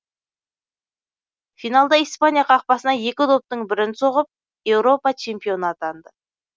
финалда испания қақпасына екі доптың бірін соғып еуропа чемпионы атанды